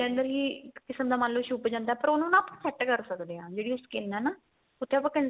liner ਹੀ ਇੱਕ ਕਿਸਮ ਦਾ ਮੰਨ ਲੋ ਛੁੱਪ ਜਾਂਦਾ ਪਰ ਉਹਨੂੰ ਨਾ set ਕਰ ਸਕਦੇ ਆ ਜਿਹੜੀ ਉਹ skin ਏ ਨਾ ਉੱਥੇ ਆਪਾਂ